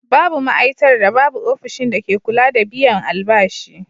Babu ma'aitar da babu ofishin dake kula da biyan albashi.